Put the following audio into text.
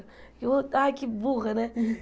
Ai, que burra, né?